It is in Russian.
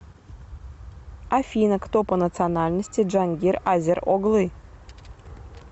афина кто по национальности джангир азер оглы